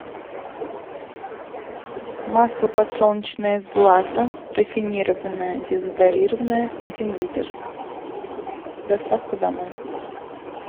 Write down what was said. масло подсолнечное злато рафинированное дезодорированное один литр доставка домой